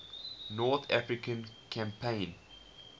north african campaign